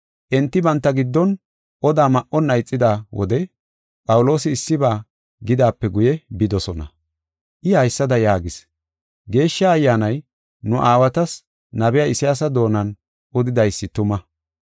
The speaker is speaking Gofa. Enti banta giddon oda ma7onna ixida wode Phawuloosi issiba gidaape guye bidosona. I haysada yaagis: “Geeshsha Ayyaanay nu aawatas nabiya Isayaasa doonan odidaysi tuma.